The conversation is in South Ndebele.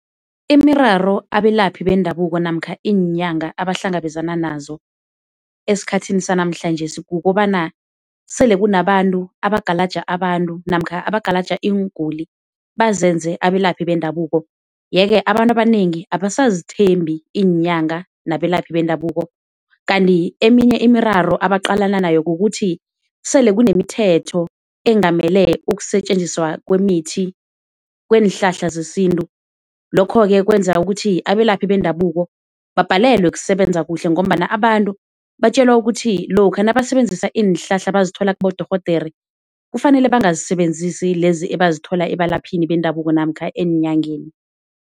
Imiraro abelaphi bendabuko namkha iinyanga abahlangabezana nazo esikhathini sanamhlanjesi kukobana sele kunabantu abagalaja abantu namkha abagalaja iinguli bazenze abelaphi bendabuko yeke abantu abanengi abasazithembi iinyanga nabelaphi bendabuko kanti eminye imiraro ebaqalana nayo kukuthi sele kunemithetho engamele ukusetjenziswa kwemithi kweenhlahla zesintu lokho ke kwenza ukuthi abelaphi bendabuko babhalelwa kusebenza kuhle ngombana abantu batjelwa ukuthi lokha nabasebenzisa iinhlahla abazithola kibodorhodere kufanele bangazisebenzisi lezi ebazithola ebalaphini bendabuko namkha eenyangeni.